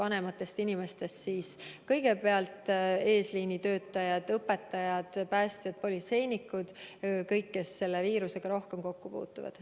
Alates vanematest inimestest ja eesliini töötajatest, samuti õpetajad, päästjad ja politseinikud – kõik, kes selle viirusega rohkem kokku puutuvad.